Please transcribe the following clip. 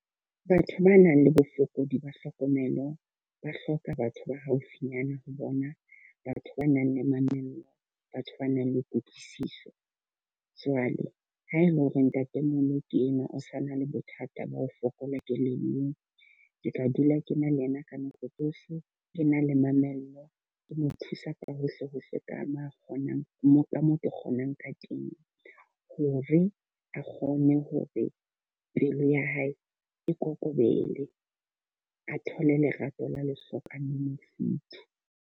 Batho ba nang le bofokodi ba hlokomelo ba hloka batho ba haufinyana ho bona. Batho ba nang le mamello, batho ba nang le kutlwisiso. Jwale ha e le hore ntate mono ke ena o sa na le bothata ba ho fokola kelellong, ke tla dula ke na le ena ka nako tsohle, ke na le mamello, ke mo thusa ka hohle hohle ka mo kgonang mo ka moo ke kgonang ka teng. Hore a kgone hore pelo ya hae e kokobele, a thole lerato la lehlokang le mofuthu.